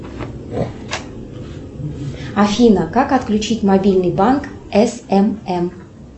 афина как отключить мобильный банк смм